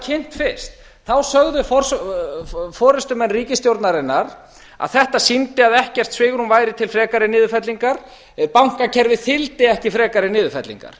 kynnt fyrst sögðu forustumenn ríkisstjórnarinnar að þetta sýndi að ekkert svigrúm væri til frekari niðurfellingar bankakerfið þyldi ekki frekari niðurfellingar